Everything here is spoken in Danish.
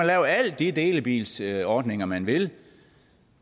lave alle de delebilsordninger man vil